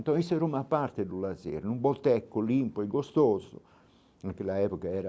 Então isso era uma parte do lazer, num boteco limpo e gostoso, naquela época era...